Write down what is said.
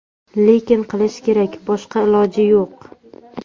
Lekin qilish kerak, boshqa iloji yo‘q.